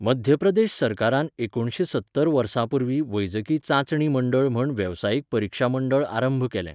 मध्य प्रदेश सरकारान एकुणशे सत्तर वर्सा पूर्व वैजकी चांचणी मंडळ म्हण वेवसायीक परिक्षा मंडळ आरंभ केलें.